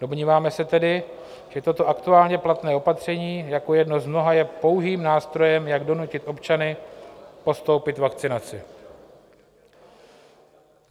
Domníváme se tedy, že toto aktuálně platné opatření jako jedno z mnoha je pouhým nástrojem, jak donutit občany podstoupit vakcinaci.